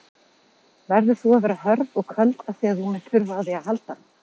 Verður að vera hörð og köld afþvíað þú munt þurfa á því að halda.